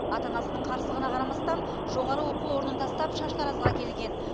ата анасының қарсылығына қарамастан жоғары оқу орнын тастап шаштаразға келген